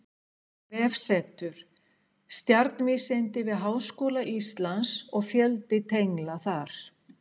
Vefsetur: Stjarnvísindi við Háskóla Íslands og fjöldi tengla þar.